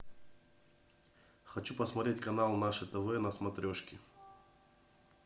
хочу посмотреть канал наше тв на смотрешке